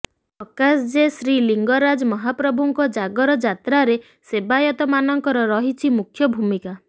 ପ୍ରକାଶ ଯେ ଶ୍ରୀଲିଙ୍ଗରାଜମହାପ୍ରଭୁଙ୍କ ଜାଗର ଯାତ୍ରାରେ ସେବାୟତମାନଙ୍କର ରହିଛି ମୁଖ୍ୟ ଭୂମିକା